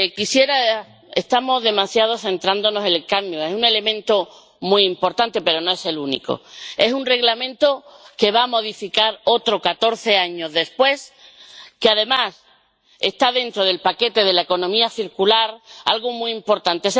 Estamos centrándonos demasiado en el cadmio es un elemento muy importante, pero no es el único. Se trata de un Reglamento que va a modificar otro, catorce años después que, además, está dentro del paquete de la economía circular, algo muy importante.